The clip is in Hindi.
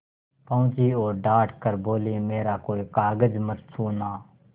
पहुँची और डॉँट कर बोलीमेरा कोई कागज मत छूना